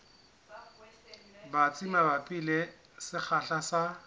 batsi mabapi le sekgahla sa